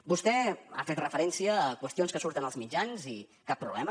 vostè ha fet referència a qüestions que surten als mitjans i cap problema